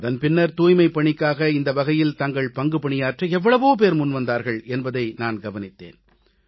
அதன் பின்னர் தூய்மைப்பணிக்காக இந்த வகையில் தங்கள் பங்கு பணியாற்ற எவ்வளவோ பேர் வந்தார்கள் என்பதை நான் கவனித்தேன்